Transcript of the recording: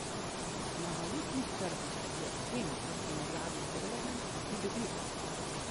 Na valutnih trgih je jen v primerjavi z dolarjem pridobil.